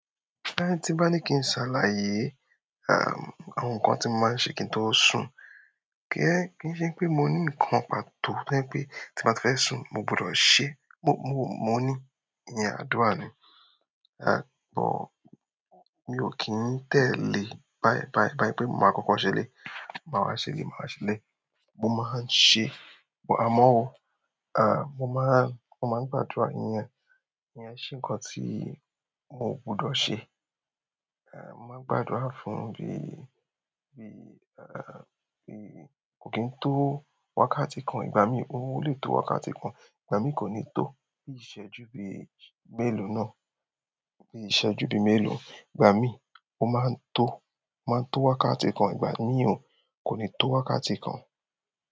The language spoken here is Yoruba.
Tin bá ní kí n ṣàlàyé, àwọn nǹkan tí mo máa ń ṣe kí n tó sùn, kí n ṣe pé mo ní nǹkan pàtó tí o je pé tí mo bá ti fẹ́ sùn mo gbọdọ̀ ṣe. Mo ni iyẹn àdúrà ni mi ò kì í tẹ̀lé báyìí, báyìí, báyìí pé mo máa kọ́kọ́ ṣẹlẹ̀yi, màá wa ṣẹlẹ̀yi, màá wa ṣẹlẹ̀yi. Mo máa ń ṣe-- àmọ́ ọmọ máa ń gbàdúrà. Ìyẹn, ìyẹn se nǹkan tí mo gbọdọ̀ ṣe. Mo máa ń gbàdúrà fún bí, bí kò kín tó wákàtí kan ìgbà mí o lè tó wákàtí kan, ìgbà mí kò ní tó. Bí iṣẹ́ju bí mélòó náà, bí iṣẹ́ ju bí mélòó, ìgbà mí mo máa ń tó, máa ń tó wákàtí kan ìgbà mí ò kò ní tó wákàtí kan.